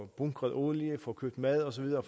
bunkret olie får købt mad og så videre